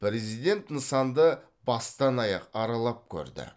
президент нысанды бастан аяқ аралап көрді